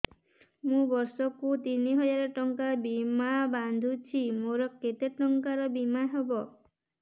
ମୁ ବର୍ଷ କୁ ତିନି ହଜାର ଟଙ୍କା ବୀମା ବାନ୍ଧୁଛି ମୋର କେତେ ଟଙ୍କାର ବୀମା ହବ